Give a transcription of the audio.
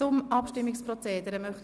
Zum Abstimmungsprozedere